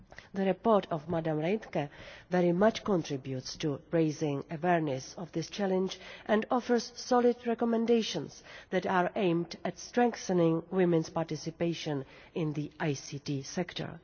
The report by Mrs Reintke very much contributes to raising awareness of this challenge and offers solid recommendations that are aimed at strengthening women's participation in the ICT sector.